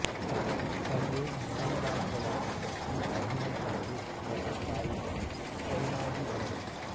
ತಂದೆ ನ್ಯಾಯವಾದಿಗಳಾಗಿದ್ದ ಪಿ ಅಹಮದ್ ಅವರು ಮತ್ತು ತಾಯಿ ಚೈನಾಬಿ ಅವರು